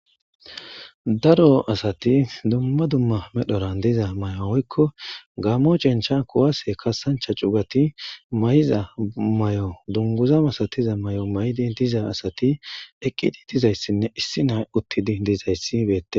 daro asati dumma dumma medhoran diza may7o oykko gammo cencha kuwase kasancha cugati may7iza may7o dunguza masatiza may7o may7idi diza asati eqqidi dizayssinne issi nay uttidi dizayssi beette